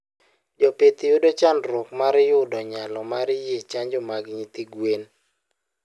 Jopith yudo chandruok mar yudo nyalo mar nyie chanjo mag nyithi gwen